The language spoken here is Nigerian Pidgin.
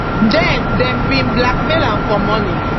den dem bin blackmail am for money